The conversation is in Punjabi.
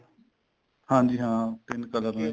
ਹਾਂਜੀ ਹਾਂ ਤਿੰਨ color ਨੇ